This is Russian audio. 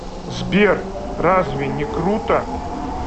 сбер разве не круто